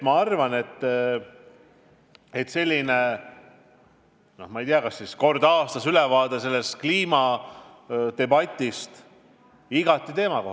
Ma arvan, et selline, ma ei tea, kas siis kord aastas antav ülevaade kliimadebatist on igati vajalik.